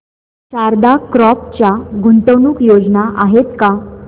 Sharda crop च्या गुंतवणूक योजना आहेत का